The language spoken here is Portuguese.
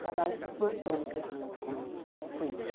Trabalho essas duas tônicas muito com elas, com eles.